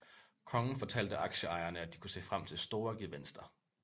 Kongen fortalte aktieejerne at de kunne se frem til store gevinster